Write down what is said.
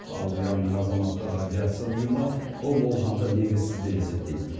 ал иранның азаматтық авиация ұйымы бұл болжамды негізсіз деп есептейді